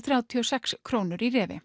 þrjátíu og sex krónu í